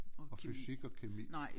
Og fysik og kemi